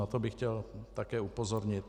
Na to bych chtěl také upozornit.